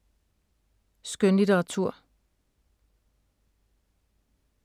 Skønlitteratur